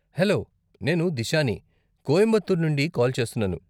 hello, నేను దిశాని, కోయంబతూర్ నుండి call చేస్తున్నాను..